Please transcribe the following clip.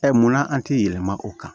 munna an ti yɛlɛma o kan